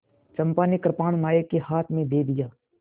चंपा ने कृपाण नायक के हाथ में दे दिया